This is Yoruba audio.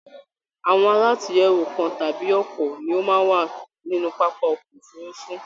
Àwọn àlatúnyẹwò kàn tàbí ọpọ ni o máa n wa nínú pápá ọkọ òfurùnfu